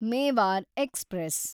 Mewar express